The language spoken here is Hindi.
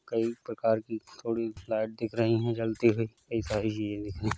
कई प्रकार की लाईट दिख रहीं हैं जलती हुईं। कई सारी चींजें दिख रहीं।